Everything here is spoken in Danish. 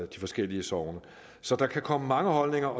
de forskellige sogne så der kan komme mange holdninger